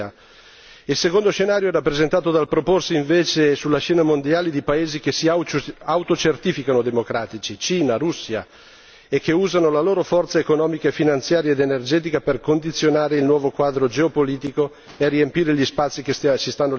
Il secondo scenario è rappresentato dal proporsi invece sulla scena mondiale di paesi che si autocertificano democratici Cina, Russia e che usano la loro forza economica, finanziaria ed energetica per condizionare il nuovo quadro geopolitico e per riempire gli spazi che si stanno liberando.